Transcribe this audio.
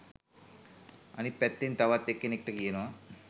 අනිත් පැත්තෙන් තවත් එකෙක්ට කියනවා